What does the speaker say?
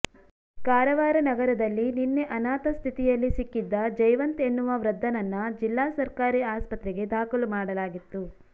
ಕಾರವಾರ ನಗರದಲ್ಲಿ ನಿನ್ನೆ ಅನಾಥ ಸ್ಥಿತಿಯಲ್ಲಿ ಸಿಕ್ಕಿದ್ದ ಜಯವಂತ್ ಎನ್ನುವ ವೃದ್ದನನ್ನ ಜಿಲ್ಲಾ ಸರ್ಕಾರಿ ಆಸ್ಪತ್ರೆಗೆ ದಾಖಲು ಮಾಡಲಾಗಿತ್ತು